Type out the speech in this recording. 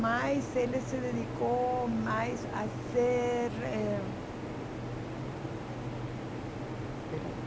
Mas ele se dedicou mais a ser eh Espera aí.